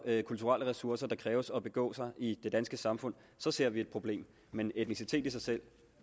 kulturelle ressourcer der kræves for at begå sig i det danske samfund så ser vi et problem men etnicitet i sig selv